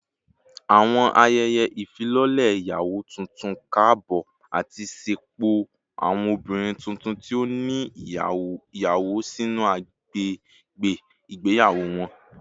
Awọn ayẹyẹ ifilọlẹ iyawo tuntun kaabọ ati ṣepọ awọn obinrin tuntun ti o ni iyawo sinu agbegbe igbeyawo wọn